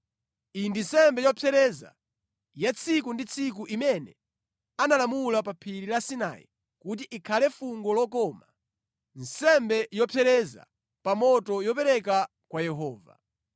Iyi ndi nsembe yopsereza ya tsiku ndi tsiku imene analamula pa phiri la Sinai kuti ikhale fungo lokoma, nsembe yopsereza pa moto yopereka kwa Yehova.